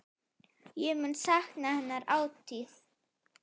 Ég mun sakna hennar ætíð.